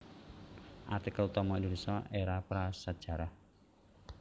Artikel utama Indonésia Era prasajarah